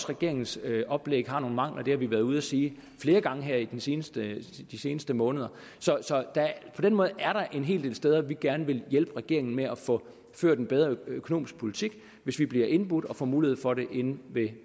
regeringens oplæg har nogle mangler og det har vi været ude at sige flere gange her de seneste de seneste måneder så på den måde er der en hel del steder hvor vi gerne vil hjælpe regeringen med at få ført en bedre økonomisk politik hvis vi bliver indbudt og får mulighed for det inde ved